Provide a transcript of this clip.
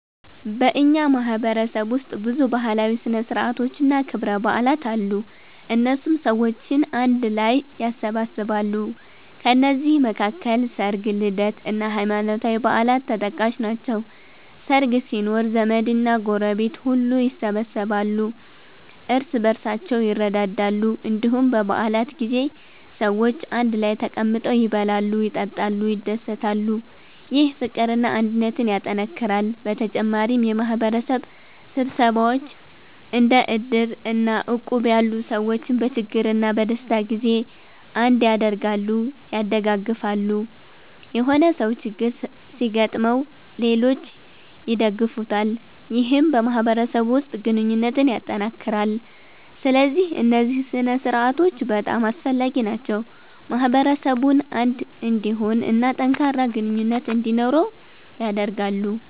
በእኛ ማህበረሰብ ውስጥ ብዙ ባህላዊ ሥነ ሥርዓቶችና ክብረ በዓላት አሉ፣ እነሱም ሰዎችን አንድ ላይ ያሰባስባሉ። ከነዚህ መካከል ሰርግ፣ ልደት እና ሃይማኖታዊ በዓላት ተጠቃሽ ናቸው። ሰርግ ሲኖር ዘመድና ጎረቤት ሁሉ ይሰበሰባሉ፣ እርስ በርሳቸውም ይረዳዳሉ። እንዲሁም በ በዓላት ጊዜ ሰዎች አንድ ላይ ተቀምጠው ይበላሉ፣ ይጠጣሉ፣ ይደሰታሉ። ይህ ፍቅርና አንድነትን ያጠናክራል። በተጨማሪም የማህበረሰብ ስብሰባዎች እንደ እድር እና እቁብ ያሉ ሰዎችን በችግርና በደስታ ጊዜ አንድ ያደርጋሉ(ያደጋግፋሉ)።የሆነ ሰው ችግር ሲገጥመው ሌሎች ይደግፉታል ይህም በማህበረሰቡ ውስጥ ግንኙነትን ያጠናክራል። ስለዚህ እነዚህ ሥነ ሥርዓቶች በጣም አስፈላጊ ናቸው፣ ማህበረሰቡን አንድ እንዲሆን እና ጠንካራ ግንኙነት እንዲኖረው ያደርጋሉ።